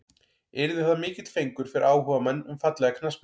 Yrði það mikill fengur fyrir áhugamenn um fallega knattspyrnu.